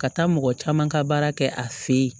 Ka taa mɔgɔ caman ka baara kɛ a fɛ ye